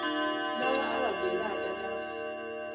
lava a nga baleka na